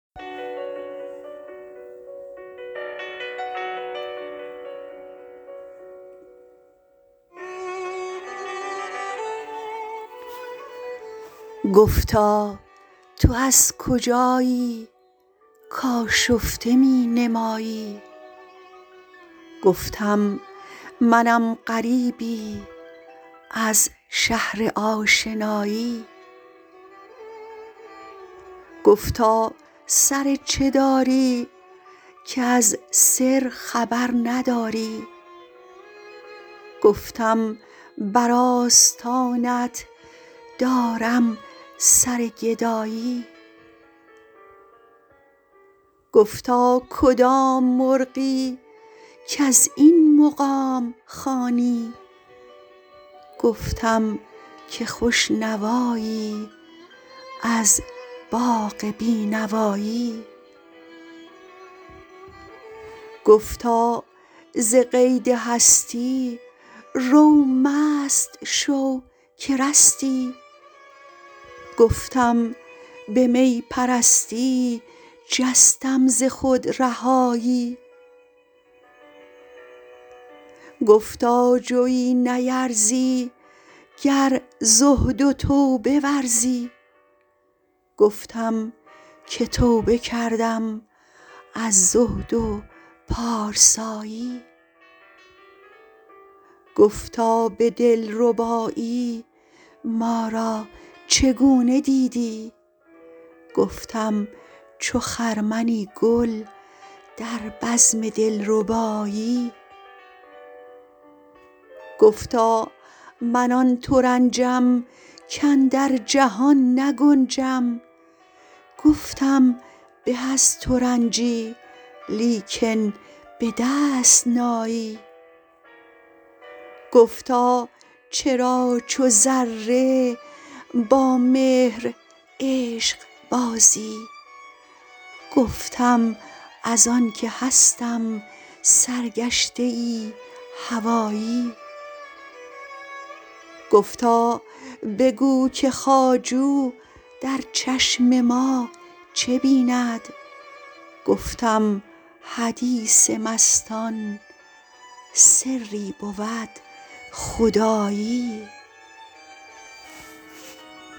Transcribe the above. گفتا تو از کجایی کآشفته می نمایی گفتم منم غریبی از شهر آشنایی گفتا سر چه داری کز سر خبر نداری گفتم بر آستانت دارم سر گدایی گفتا کدام مرغی کز این مقام خوانی گفتم که خوش نوایی از باغ بینوایی گفتا ز قید هستی رو مست شو که رستی گفتم به می پرستی جستم ز خود رهایی گفتا جوی نیرزی گر زهد و توبه ورزی گفتم که توبه کردم از زهد و پارسایی گفتا به دلربایی ما را چگونه دیدی گفتم چو خرمنی گل در بزم دلربایی گفتا من آن ترنجم کاندر جهان نگنجم گفتم به از ترنجی لیکن بدست نایی گفتا چرا چو ذره با مهر عشق بازی گفتم از آن که هستم سرگشته ای هوایی گفتا بگو که خواجو در چشم ما چه بیند گفتم حدیث مستان سری بود خدایی